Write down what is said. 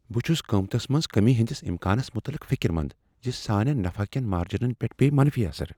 بہٕ چھس قیمتس منٛز کمی ہندس امکانس متعلق فکر مند زِ سانین نفع کین مارجینن پیٹھ پییہ منفی اثر ۔